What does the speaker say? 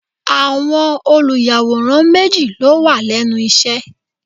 Àwọn olùyàwòrán méjì ló wà lẹ́nu iṣẹ́.